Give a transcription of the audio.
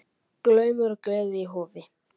Glaumur og gleði í Hofi